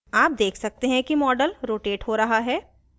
आप देख सकते हैं कि model रोटेट हो रहा है